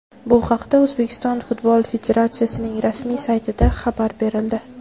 Bu haqda O‘zbekiston Futbol Federatsiyasining rasmiy saytida xabar berildi .